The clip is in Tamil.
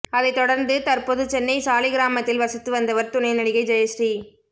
அதை தொடர்ந்து தற்போது சென்னை சாலிகிராமத்தில் வசித்து வந்தவர் துணை நடிகை ஜெயஸ்ரீ